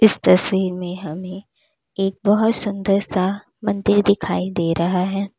इस तस्वीर में हमें एक बहुत सुंदर सा मंदिर दिखाई दे रहा है।